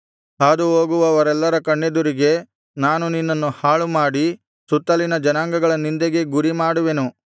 ಹಾದುಹೋಗುವವರೆಲ್ಲರ ಕಣ್ಣೆದುರಿಗೆ ನಾನು ನಿನ್ನನ್ನು ಹಾಳುಮಾಡಿ ಸುತ್ತಲಿನ ಜನಾಂಗಗಳ ನಿಂದೆಗೆ ಗುರಿ ಮಾಡುವೆನು